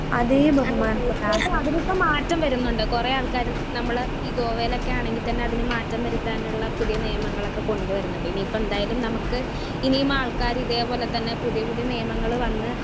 Speaker 1 ഹമ് അതെ തീർച്ചയായിട്ടും അതിനിപ്പോ മാറ്റം വരുന്നുണ്ട്. കുറേ ആൾക്കാര് നമ്മുള് ഗോവയിൽ ഒക്കെ ആണെങ്കിൽ തന്നെ അതിന് മാറ്റം വരുത്താനുള്ള പുതിയ നിയമങ്ങളൊക്കെ കൊണ്ടു വരുന്നുണ്ട്. ഇനി ഇപ്പൊ എന്തായാലും നമുക്ക് ഇനിയും ആൾക്കാര് ഇതേ പോലെ തന്നെ പുതിയ പുതിയ നിയമങ്ങള് വന്ന്,